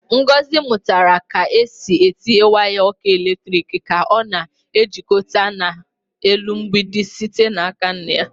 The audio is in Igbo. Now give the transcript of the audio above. Ngọzi mụtara ka e si etinye waya ọkụ eletrik ka a na-ejikọta na-elu mgbidi site n'aka nna ya.